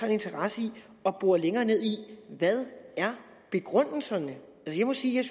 en interesse i at bore længere ned i hvad begrundelserne er jeg må sige at